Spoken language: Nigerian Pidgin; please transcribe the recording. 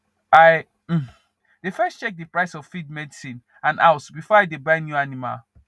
i um dey first check the price of feed medicine and house before i dey buy new animal